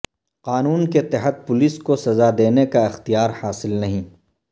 قانون کے تحت پولیس کو سزا دینے کا اختیار حاصل نہیں